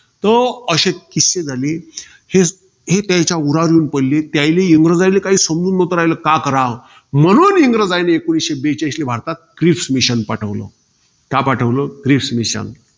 तर, तो अशे किस्से झाले. शीस~ हे त्यांच्या उरावर येऊन पडले. ते यायले, इंग्रजाले काई समजून नव्हत रायल का कराव. म्हणून, इंग्रजांनी एकोणीसशे बेचाळीसले भारतात क्रिस mission पाठवलं. का पाठवलं? Cripps mission